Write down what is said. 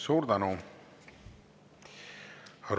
Suur tänu!